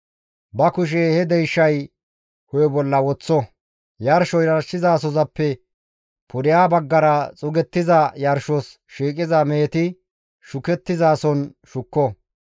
Ba kushe he deyshay hu7e bolla woththo; yarsho yarshizasoppe pudeha baggara xuugettiza yarshos shiiqiza meheti shukettizason shukko.